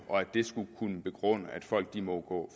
og at det skulle begrunde at folk må gå